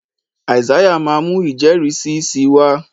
Isaiah má mú ijẹrisi sí wá.